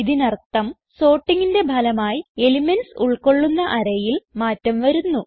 ഇതിനർത്ഥം sortingന്റെ ഫലമായി എലിമെന്റ്സ് ഉൾകൊള്ളുന്ന arrayയിൽ മാറ്റം വരുന്നു